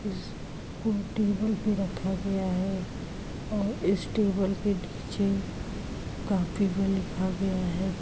इसको टेबल पे रखा गया है और इस टेबल के पीछे कापी में लिखा गया है।